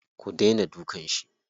Ku daina dukan shi.